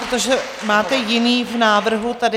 Protože máte jiný v návrhu tady.